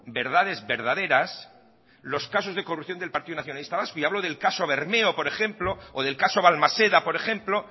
verdades verdaderas los casos de corrupción del partido nacionalista vasco y hablo del caso bermeo por ejemplo o del caso balmaseda por ejemplo